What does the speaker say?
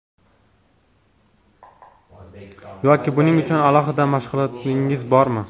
Yoki buning uchun alohida mashg‘ulotingiz bormi?